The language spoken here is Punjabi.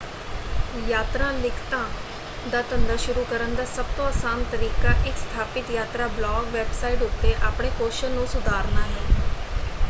ਯਾਤਰਾ ਲਿਖਤਾਂ ਦਾ ਧੰਦਾ ਸ਼ੁਰੂ ਕਰਨ ਦਾ ਸਭਤੋਂ ਆਸਾਨ ਤਰੀਕਾ ਇਕ ਸਥਾਪਿਤ ਯਾਤਰਾ ਬਲਾਗ ਵੈਬਸਾਈਟ ਉੱਤੇ ਆਪਣੇ ਕੌਸ਼ਲ ਨੂੰ ਸੁਧਾਰਨਾ ਹੈ।